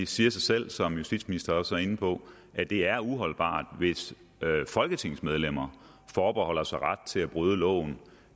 siger sig selv som justitsministeren også var inde på at det er uholdbart hvis folketingsmedlemmer forbeholder sig ret til at bryde loven